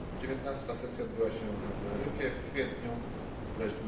19. sesja odbyła się na Teneryfie w kwietniu, a